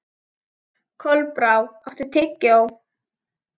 Kolbrá, áttu tyggjó?